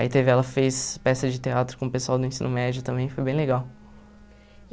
Aí teve, ela fez peça de teatro com o pessoal do ensino médio também, foi bem legal.